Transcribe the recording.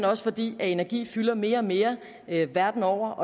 også fordi energi fylder mere og mere verden over